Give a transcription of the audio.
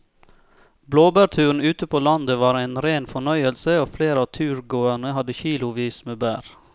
Blåbærturen ute på landet var en rein fornøyelse og flere av turgåerene hadde kilosvis med bær.